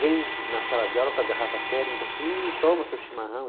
Vem na sala de aula com a garrafa térmica assim e toma seu chimarrão.